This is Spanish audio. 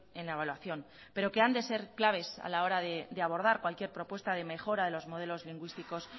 en la evaluación pero que han de ser claves a la hora de abordar cualquier propuesta de mejora de los modelos lingüísticos